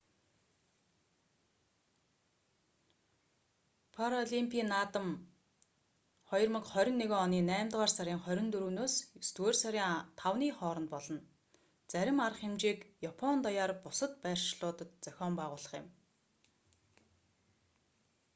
паралимпийн наадам 2021 оны наймдугаар сарын 24-с есдүгээр сарын 5-ны хооронд болно зарим арга хэмжээг япон даяар бусад байршлуудад зохион байгуулах юм